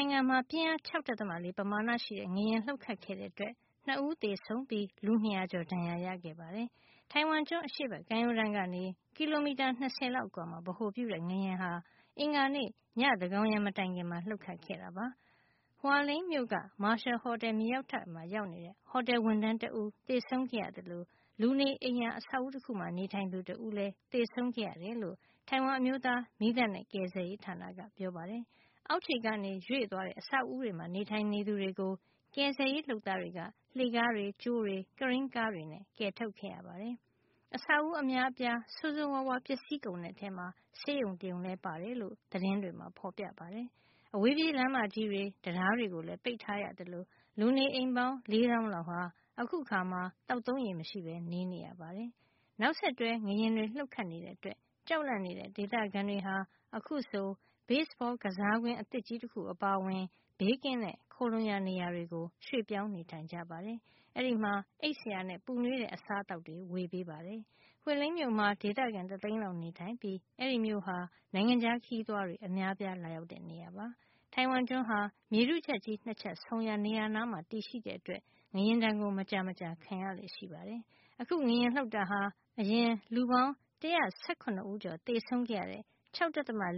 ထိုင်ဝမ်မှာ ပြင်းအား ၆.၄ ပမာဏရှိတဲ့ ငလျင်လှုပ်ခတ်ခဲ့တဲ့အတွက် ၂ ဦးသေဆုံးပြီး လူ ၂၀၀ ကျော်ဒဏ်ရာရခဲ့ပါတယ်။ ထိုင်ဝမ်ကျွန်း အရှေ့ဖက်ကမ်းရိုးတန်းကနေ ကီလိုမီတာ ၂၀ လောက်အကွာမှာ ဗဟိုပြုတဲ့ ငလျင်ဟာ အင်္ဂါနေ့ ည သန်းကောင်ယံ မတိုင်ခင်မှာ လှုပ်ခတ်ခဲ့တာ ဖြစ်ပါတယ်။ Hualien မြို့က Marshal ဟော်တယ် မြေအောက်ထပ်မှာ ရောက်နေတဲ့ ဟော်တယ် ဝန်ထမ်းတဦးသေဆုံးခဲ့ရသလို လူနေအိမ်ယာ အဆောက်အဦး တခုမှာ နေထိုင်သူ တဦးလည်း သေဆုံးခဲ့ရတယ်လို့ တိုင်ဝမ်အမျိုးသား မီးသတ်နဲ့ ကယ်ဆယ်ရေးဌာနက ပြောပါတယ်။ အောက်ခြေကနေ ရွေ့သွားတဲ့ အဆောက်အဦးတွေမှာ နေထိုင်သူတွေကို ကယ်ဆယ်ရေး လုပ်သားတွေက လှေခါးတွေ၊ ကြိုးတွေ၊ ကရိန်းကားတွေနဲ့ ကယ်ထုတ်ခဲ့ရပါတယ်။ အဆောက်အဦး အများအပြား ဆိုးဆိုးဝါးဝါး ပျက်စီးကုန်တဲ့ထဲမှာ ဆေးရုံတရုံလည်း ပါတယ်လို့ သတင်းတွေမှာ ဖေါ်ပြပါတယ်။ အဝေးပြေးလမ်းမကြီးတွေ တံတားတွေကိုလည်း ပိတ်ထားရသလို လူနေအိမ်ပေါင်း ၄ သောင်းလောက်ဟာ အခုအခါမှာ သောက်သုံးရေမရှိပဲ နေနေရပါတယ်။ နောက်ဆက်တွဲ ငလျင်တွေ လှုပ်ခတ်နေတဲ့အတွက် ကြောက်လန့်နေတဲ့ ဒေသခံတွေဟာ အခုဆို ဘေ့စ်ဘော ကစားကွင်း အသစ်ကြီးတခု အပါအဝင် ဘေးကင်းတဲ့ ခိုလှုံရာ နေရာတွေကို ရွှေ့ပြောင်းနေကြပါတယ်။ အဲဒီမှာ အိပ်စရာနဲ့ ပူနွေးတဲ့ အစားသောက်တွေ ဝေပေးပါတယ်။ Hualien မြို့မှာ ဒေသခံ တသိန်းလောက် နေထိုင်ပြီး အဲဒီမြို့ဟာ နိုင်ငံခြားခရီးသွားတွေ အများအပြား လာရောက်တဲ့ နေရာ ဖြစ်ပါတယ်။ တိုင်ဝမ်ကျွန်းဟာ မြေထုချပ်ကြီး ၂ ချပ်ဆုံရာ နေရာနားမှာ တည်ရှိတဲ့အတွက် ငလျင်ဒဏ် မကြာမကြာခံရလေ့ ရှိပါတယ်။ အခု ငလျင်လှုပ်တာဟာ အရင် လူပေါင်း ၁၁၇ ကျော် သေဆုံးခဲ့ရတဲ့ ၆.